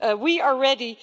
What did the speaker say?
We are ready.